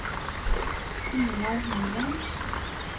Ingjerd Nyland